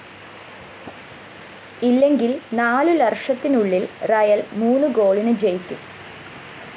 ഇല്ലെങ്കില്‍ നാലുലര്‍ഷത്തിനുള്ളില്‍ റിയൽ മൂന്ന് ഗോളിന് ജയിക്കും